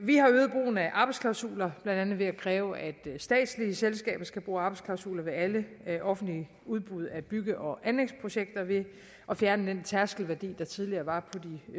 vi har øget brugen af arbejdsklausuler blandt andet ved at kræve at statslige selskaber skal bruge arbejdsklausuler ved alle offentlige udbud af bygge og anlægsprojekter ved at fjerne den tærskelværdi der tidligere var på